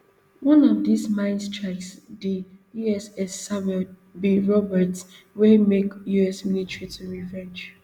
one of dis mines strike di uss samuel b roberts wey make us military to revenge